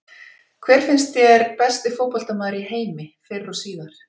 Hver finnst þér besti fótboltamaður í heimi fyrr og síðar?